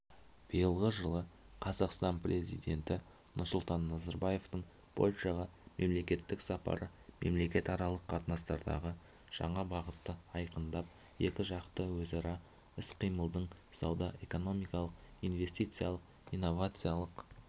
биылғы жылы қазақстан президенті нұрсұлтан назарбаевтың польшаға мемлекеттік сапары мемлекетаралық қатынастардағы жаңа бағытты айқындап екіжақты өзара іс-қимылдың сауда-экономикалық инвестициялық-инновациялық